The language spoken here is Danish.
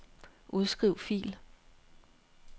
Udskriv fil.